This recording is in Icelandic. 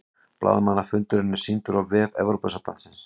Blaðamannafundurinn er sýndur á vef Evrópusambandsins